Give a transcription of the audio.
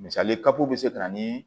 Misali kapu bɛ se ka na ni